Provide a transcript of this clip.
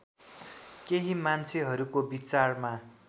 केही मान्छेहरूको बीचारमा